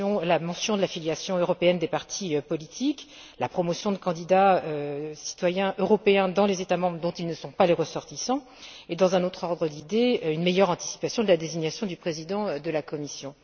la mention de la filiation européenne des partis politiques, la promotion de candidats citoyens européens dans les États membres dont ils ne sont pas les ressortissants et, dans un autre ordre d'idée, une meilleure anticipation de la désignation du président de la Commission.